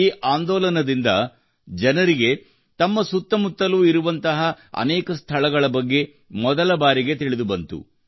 ಈ ಆಂದೋಲನದಿಂದ ಜನರಿಗೆ ತಮ್ಮ ಸುತ್ತ ಮುತ್ತಲು ಇರುವಂತಹ ಅನೇಕ ಸ್ಧಳಗಳ ಬಗ್ಗೆ ಮೊದಲ ಬಾರಿಗೆ ತಿಳಿದು ಬಂದಿತು